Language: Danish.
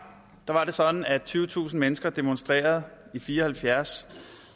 var det sådan at tyvetusind mennesker demonstrerede i fire og halvfjerds